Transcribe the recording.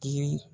Yirini